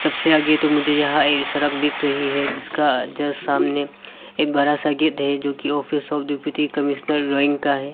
इस से आगे तो मुझे यहां एक सड़क दिख रही है जिसका जस्ट सामने एक बड़ा सा गेट है जो कि office of deputy commissioner Roing का है।